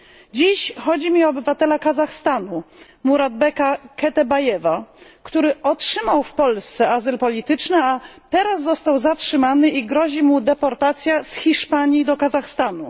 Dziś chodzi mi o obywatela Kazachstanu Muratbeka Ketebajewa, który otrzymał w Polsce azyl polityczny, a teraz został zatrzymany i grozi mu deportacja z Hiszpanii do Kazachstanu.